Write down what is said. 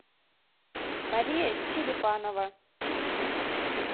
мария черепанова